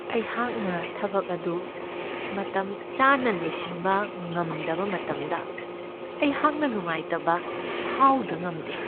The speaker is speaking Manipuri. ꯑꯩꯍꯥꯛꯅ ꯊꯕꯛ ꯑꯗꯨ ꯃꯇꯝꯆꯥꯅ ꯂꯣꯏꯁꯤꯟꯕ ꯉꯝꯗꯕ ꯃꯇꯝꯗ ꯑꯩꯍꯥꯛꯅ ꯅꯨꯡꯉꯥꯏꯇꯕ ꯐꯥꯎꯗ ꯉꯝꯗꯦ ꯫